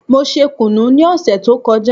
Mo ṣe kùnú ní òsè tó kọjá